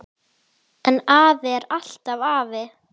En afi er alltaf afi.